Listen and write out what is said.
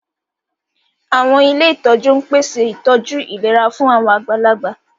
Àwọn ilé ìtọ́jú ń pèsè ìtọ́jú ìlera fún àwọn àgbàlagbà